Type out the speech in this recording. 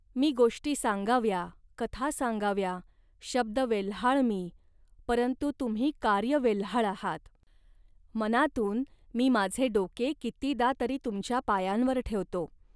मी गोष्टी सांगाव्या, कथा सांगाव्या, शब्दवेल्हाळ मी, परंतु तुम्ही कार्यवेल्हाळ आहात. मनातून मी माझे डोके कितीदा तरी तुमच्या पायांवर ठेवतो